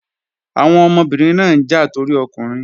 Àwọn ọmọbìnrin náà ń jà torí ọkùnrin